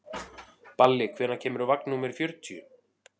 Balli, hvenær kemur vagn númer fjörutíu?